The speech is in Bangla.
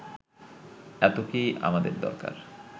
এত কি আমাদের দরকার